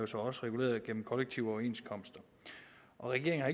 så også reguleret gennem kollektive overenskomster regeringen